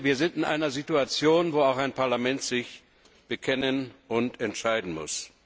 Wir sind in einer Situation, in der auch ein Parlament sich bekennen und entscheiden muss.